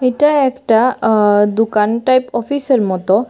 এটা একটা আ দোকান টাইপ অফিসের মতো।